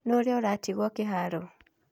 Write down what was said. Nũũ ira ũratigirwo kĩharo?